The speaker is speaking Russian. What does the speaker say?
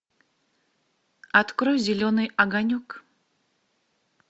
открой зеленый огонек